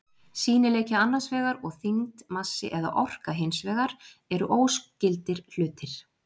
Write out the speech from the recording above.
Sýnileiki annars vegar og þyngd, massi eða orka hins vegar eru óskyldir hlutir.